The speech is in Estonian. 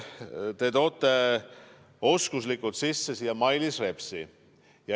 Te tõite oskuslikult siia sisse Mailis Repsi.